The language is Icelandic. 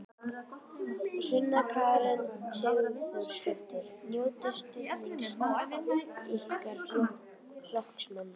Sunna Karen Sigurþórsdóttir: Njótiði stuðnings ykkar flokksmanna?